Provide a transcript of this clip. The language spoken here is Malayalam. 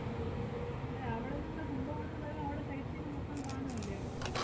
ഉം അല്ല അവടന്ന് നിങ്ങള് കുംഭകോണന്ന് പറയുമ്പ അവടെ sight seeing മൊത്തം കാണുവല്ലേ അവടെ?